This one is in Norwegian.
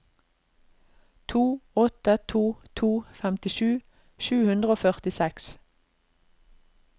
to åtte to to femtisju sju hundre og førtiseks